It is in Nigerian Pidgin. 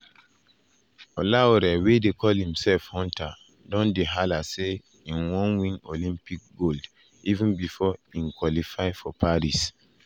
olaore wey dey call imself "hunter" don dey hala say im wan win olympic gold even bifor im qualify for paris.